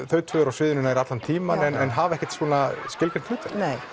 þau tvö eru á sviðinu nær allan tímann en hafa ekkert svona skilgreint hlutverk nei